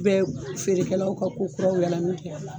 U bɛ feerekɛ law ka ko kuraw yaala min kɛ.